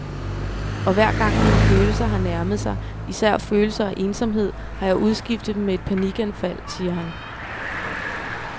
Og hver gang mine følelser har nærmet sig, især følelser af ensomhed, har jeg udskiftet dem med et panikanfald, siger han.